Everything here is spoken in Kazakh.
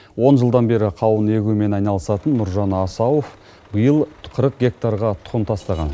он жылдан бері қауын егумен айналысатын нұржан асауов биыл қырық гектарға тұқым тастаған